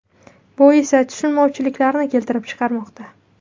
Bu esa tushunmovchiliklarni keltirib chiqarmoqda.